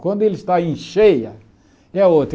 Quando ele está em cheia, é outra.